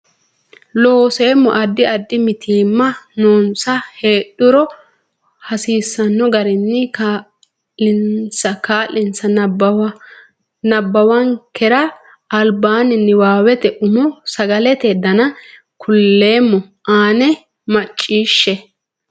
Looseemmo Addi addi mitiimma noonsa heedhuro hasiisanno garinni kaa linsa nabbawankera albaanni niwaawete umo Sagalete Dana kuleemmo a nena macciishshe.